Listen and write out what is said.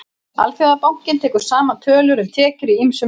Alþjóðabankinn tekur saman tölur um tekjur í ýmsum löndum.